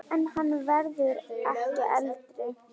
En hann verður ekki eldri.